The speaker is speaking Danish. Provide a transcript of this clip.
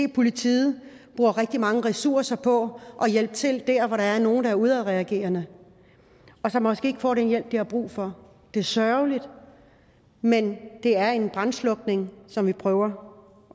at politiet bruger rigtig mange ressourcer på at hjælpe til der hvor der er nogle der er udadreagerende og som måske ikke får den hjælp de har brug for det er sørgeligt men det er en brandslukning som vi prøver